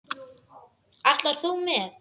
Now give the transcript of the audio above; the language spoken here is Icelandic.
Ætlar þú með?